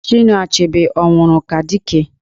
Chinua Achebe ọ nwụrụ ka Dike?